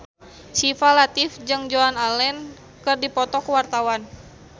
Syifa Latief jeung Joan Allen keur dipoto ku wartawan